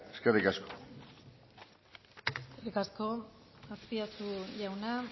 eskerrik asko eskerrik asko azpiazu jauna